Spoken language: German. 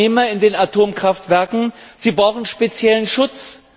Und die Arbeitnehmer in den Atomkraftwerken brauchen speziellen Schutz.